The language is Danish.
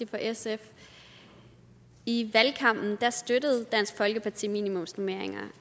for sf i valgkampen støttede dansk folkeparti minimumsnormeringer